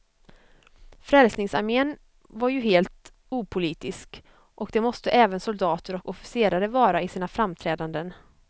Frälsningsarmén var ju helt opolitisk, och det måste även soldater och officerare vara i sina framträdanden.